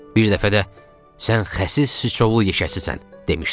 Bir dəfə də sən həsis sçovlu yekeçisən demişdim.